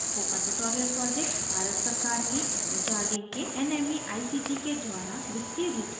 spoken tutorial project Bharat सरकार के M H R the के nmeict के द्वारा वित्तीय रूप से समर्थित है